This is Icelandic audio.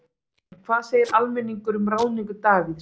En hvað segir almenningur um ráðningu Davíðs?